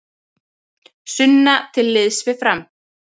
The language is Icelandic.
Sunna til liðs við Fram